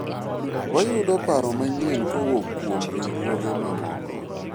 wayudo paro manyien kowuok kuom riwruoge mamoko